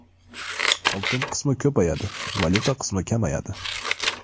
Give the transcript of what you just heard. Oltin qismi ko‘payadi, valyuta qismi kamayadi.